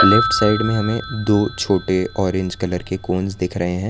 Left side में हमें दो छोटे ऑरेंज कलर के कोंस दिख रहे हैं।